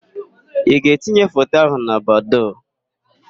Ị ga-etinye foto ahụ na Badoo?